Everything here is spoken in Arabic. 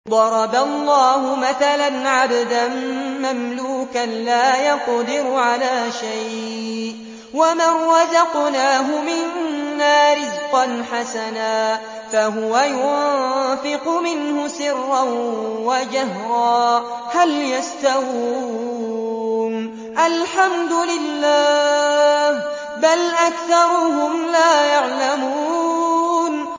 ۞ ضَرَبَ اللَّهُ مَثَلًا عَبْدًا مَّمْلُوكًا لَّا يَقْدِرُ عَلَىٰ شَيْءٍ وَمَن رَّزَقْنَاهُ مِنَّا رِزْقًا حَسَنًا فَهُوَ يُنفِقُ مِنْهُ سِرًّا وَجَهْرًا ۖ هَلْ يَسْتَوُونَ ۚ الْحَمْدُ لِلَّهِ ۚ بَلْ أَكْثَرُهُمْ لَا يَعْلَمُونَ